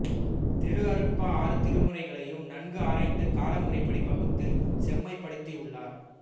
திருஅருட்பா ஆறு திருமுறைகளையும் நன்கு ஆராய்ந்து கால முறைப்படி பகுத்து செம்மைப்படுத்தியுள்ளார்